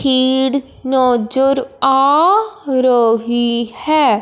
कीड़ नजर आ रही है।